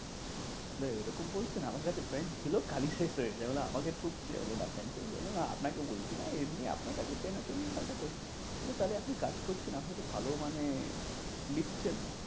এরকম বলছেন আমার কাছে পেন ছিল কালি শেষ হয়ে গেছে। বললাম আমাকে ঠুকছে না আপনাকে বলছি না এমনি আপনার কাছে পেন আছে তাহলে আপনি কাজ করছেন আপনি তো ভালো মানে লিখছেন।